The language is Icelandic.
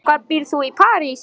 Og hvar býrð þú í París?